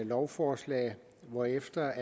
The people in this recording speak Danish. lovforslag hvorefter